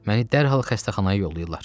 Məni dərhal xəstəxanaya yollayırlar.